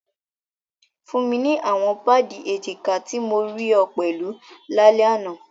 Fun mi awọn paadi ejika ti mo rii ọ pẹlu lalẹ ana!